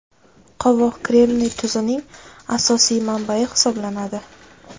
Qovoq kremniy tuzining asosiy manbayi hisoblanadi.